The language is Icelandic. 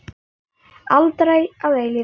Aldrei að eilífu.